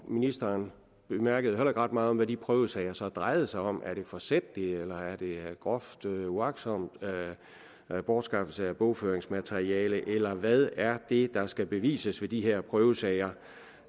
ministeren bemærkede heller ikke ret meget om hvad de prøvesager så drejede sig om er det forsætlig eller groft uagtsom bortskaffelse af bogføringsmateriale eller hvad er det der skal bevises ved de her prøvesager